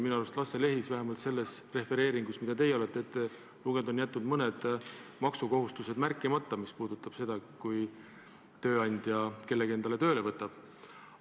Minu arust on Lasse Lehis vähemalt selles refereeringus, mida teie olete ette lugenud, jätnud mõned maksukohustused märkimata, mis puudutavad seda, kui tööandja kellegi enda juurde tööle võtab.